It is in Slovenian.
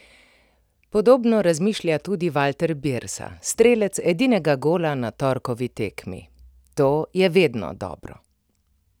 Podobno razmišlja tudi Valter Birsa, strelec edinega gola na torkovi tekmi: "To je vedno dobro.